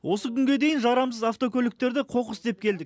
осы күнге дейін жарамсыз автокөліктерді қоқыс деп келдік